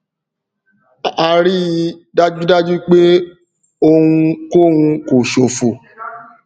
a ríi dájúdájú pé ohun kò hun kò ṣòfò